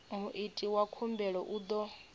muiti wa khumbelo u ḓo